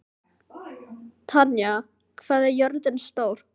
Tanya, hvað er jörðin stór?